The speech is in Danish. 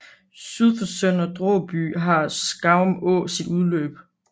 Syd for Sønder Dråby har Skarum Å sit udløb